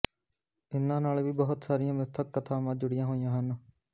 ਇੰਨ੍ਹਾਂ ਨਾਲ ਵੀ ਬਹੁਤ ਸਾਰੀਆਂ ਮਿੱਥਕ ਕਥਾਵਾਂ ਜੁੜੀਆਂ ਹੋਇਆਂ ਹਨ